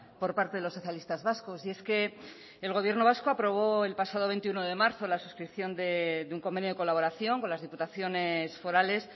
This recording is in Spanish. por parte de los socialistas vascos y es que el gobierno vasco aprobó el pasado veintiuno de marzo la suscripción de un convenio de colaboración con las diputaciones forales